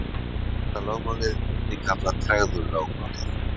fyrsta lögmálið er einnig kallað tregðulögmálið